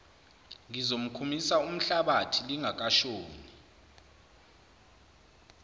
ngizomkhumisa umhlabathi lingakashoni